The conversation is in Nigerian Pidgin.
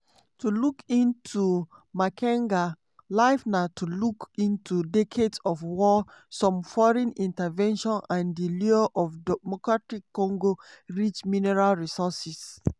to look into makenga life na to look into decades of war some foreign intervention and di lure of democratic congo rich mineral resources.